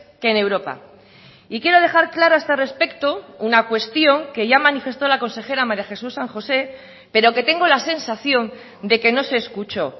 que en europa y quiero dejar claro a este respecto una cuestión que ya manifestó la consejera maría jesús san josé pero que tengo la sensación de que no se escuchó